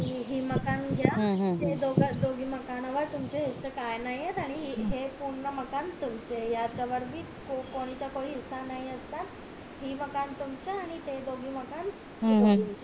हे माकन घ्या त्या दोनी मकानावर तुमचे हिस्से काही नाहीये हे पूर्ण मकान तुमचं ये याच्यावर बी कोणचा काई हिस्सा नसणार हे मकान तुमच आणि ते दोगी मकान